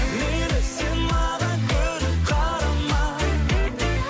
мейлі сен маған күліп қарама